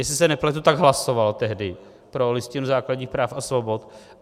Jestli se nepletu, tak hlasoval tehdy pro Listinu základních práv a svobod.